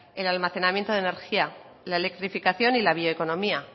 el almacenamiento de energía la electrificación y la bioeconomía